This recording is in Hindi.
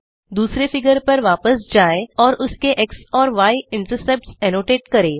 दुसरे फिगर पर वापस जाएं और उसके एक्स और य इंटरसेप्ट्स एनोटेट करें